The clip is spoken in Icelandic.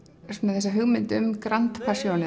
þessa hugmynd um grand passion